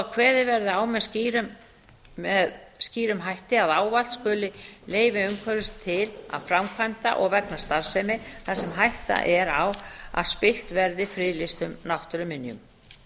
að kveðið verði á með skýrum hætti að ávallt skuli leyfi umhverfisstofnunar til framkvæmda og vegna starfsemi þar sem hætta er á að spillt verði friðlýstum náttúruminjum